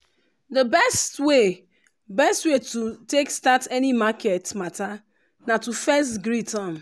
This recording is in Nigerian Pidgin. the best way best way to take start any market mata na to fess greet um